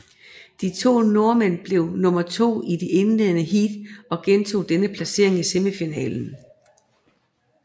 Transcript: De to nordmænd blev nummer to i det indledende heat og gentog denne placering i semifinalen